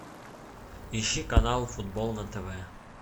ищи канал футбол на тв